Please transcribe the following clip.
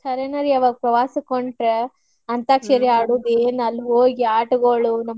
ಖರೇನ ರೀ ಆವಾಗ ಪ್ರವಾಸಕ್ ಹೊಂಟ್ರ್ ಅಂತ್ಯಾಕ್ಷರಿ ಆದುದ ಅಲ್ಲೇ ಹೋಗಿ ಆಟಗೋಳ.